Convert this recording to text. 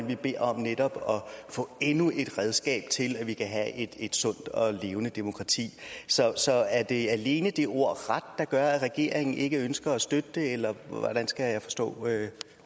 vi beder netop om at få endnu et redskab til at have et sundt og levende demokrati så så er det alene det ord ret der gør at regeringen ikke ønsker at støtte det eller hvordan skal jeg forstå